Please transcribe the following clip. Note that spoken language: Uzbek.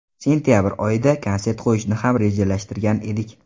Sentabr oyida konsert qo‘yishni ham rejalashtirgan edik.